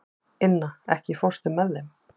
Inna, ekki fórstu með þeim?